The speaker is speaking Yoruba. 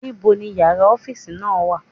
Níbo ni yàrá orin náà wà.?